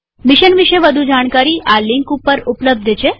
mission વિષે વધુ જાણકારી આ લિંક httpspoken tutorialorgNMEICT Intro ઉપર ઉપલબ્ધ છે